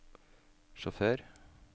sjåfør